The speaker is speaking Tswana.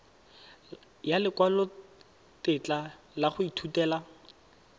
ya lekwalotetla la go ithutela